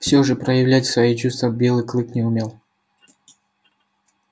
всё же проявлять свои чувства белый клык не умел